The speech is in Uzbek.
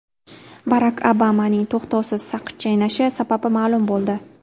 Barak Obamaning to‘xtovsiz saqich chaynashi sababi ma’lum bo‘ldi.